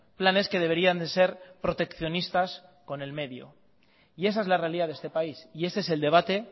planes que deberían de ser proteccionistas con el medio y esa es la realidad de este país y ese es el debate